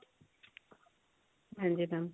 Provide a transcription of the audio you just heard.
ਹਾਂਜੀ mam